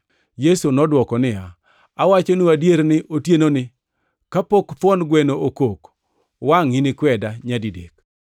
Yesu nodwoko niya, “Awachoni adier ni otienoni, kapok thuon gweno okok, wangʼ inikweda nyadidek.”